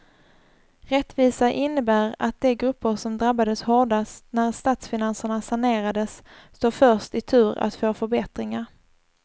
Rättvisa innebär att de grupper som drabbades hårdast när statsfinanserna sanerades står först i tur att få förbättringar.